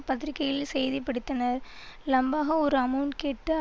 பத்திரிகைகளில் செய்தி படித்தனர் லம்பாக ஒரு அமெளண்ட் கேட்டு